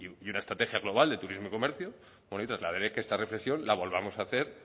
y una estrategia global de turismo y comercio bueno y trasladaré que esta reflexión la volvamos a hacer